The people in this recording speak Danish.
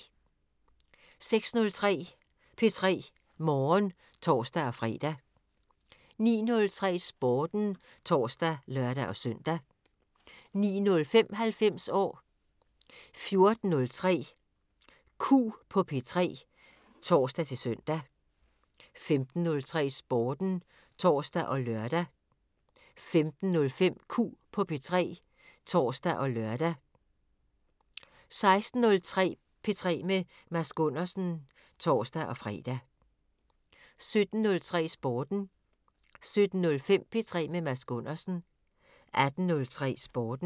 06:03: P3 Morgen (tor-fre) 09:03: Sporten (tor og lør-søn) 09:05: 90 år 14:03: Q på P3 (tor-søn) 15:03: Sporten (tor og lør) 15:05: Q på P3 (tor og lør) 16:03: P3 med Mads Gundersen (tor-fre) 17:03: Sporten 17:05: P3 med Mads Gundersen 18:03: Sporten